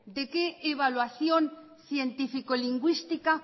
de qué evaluación científico lingüística